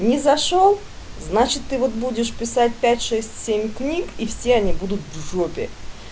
не зашёл значит ты вот будешь писать пять шесть семь книг и все они будут в жопе